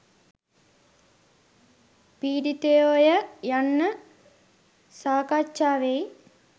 පීඩිතයෝ ය යන්න සාකච්ඡා වෙයි.